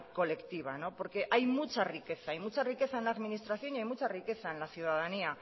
colectiva porque hay mucha riqueza en la administración y hay mucha riqueza en la ciudadanía